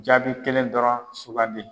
Jaabi kelen dɔrɔn sugandi.